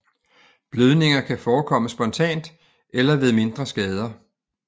Blødninger kan forekomme spontant eller ved mindre skader